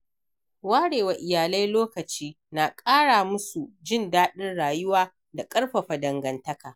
Ware wa iyalai lokaci na ƙara musu jin daɗin rayuwa da ƙarfafa dangantaka.